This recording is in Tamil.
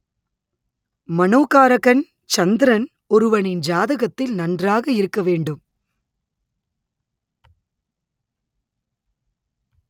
மனோகாரகன் சந்திரன் ஒருவனின் ஜாதகத்தில் நன்றாக இருக்க வேண்டும்